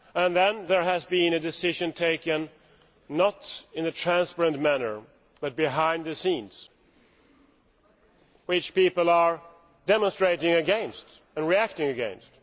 Then there has been a decision taken not in a transparent manner, but behind the scenes which people are demonstrating and reacting against.